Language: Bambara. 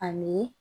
Ani